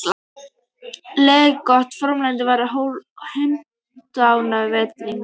Leiðtogi fornleifafræðinganna var hundóánægður á vettvangi.